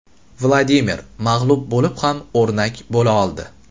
Vladimir mag‘lub bo‘lib ham o‘rnak bo‘la oldi.